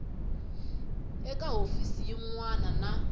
eka hofisi yin wana na